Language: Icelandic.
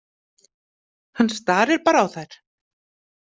Hann starir bara á þær.